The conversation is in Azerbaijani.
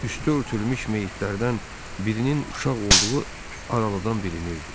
Üstü örtülmüş meyidlərdən birinin uşaq olduğu aralıdan bilinirdi.